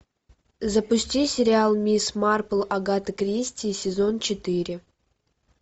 запусти сериал мисс марпл агаты кристи сезон четыре